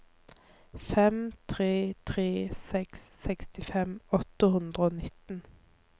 fem tre tre seks sekstifem åtte hundre og nitten